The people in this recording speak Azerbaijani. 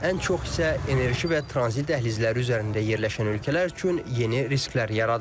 Ən çox isə enerji və tranzit dəhlizləri üzərində yerləşən ölkələr üçün yeni risklər yaradır.